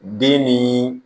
Den ni